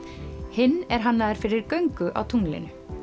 hinn er hannaður fyrir göngu á tunglinu